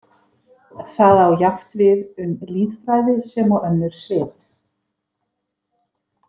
Það á jafnt við um lýðfræði sem og önnur svið.